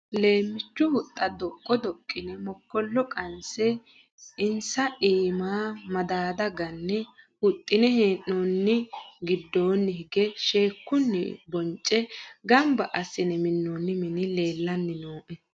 Leemichu huxxa doqo doqine mokkolo qanse insa iima madada gane huxine hee'nonni giddoni hige sheekkunni honce gamba assine minoni mini leellanni nooe.